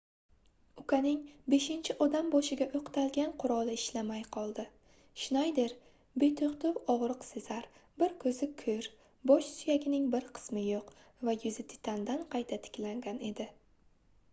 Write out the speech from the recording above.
ukaning beshinchi odam boshiga oʻqtalgan quroli ishlamay qoldi shnayder betoʻxtov ogʻriq sezar bir koʻzi koʻr bosh suyagining bir qismi yoʻq va yuzi titandan qayta tiklangan edi